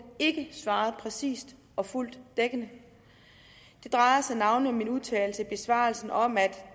ikke svarede præcist og fuldt dækkende det drejer sig navnlig om min udtalelse i besvarelsen om at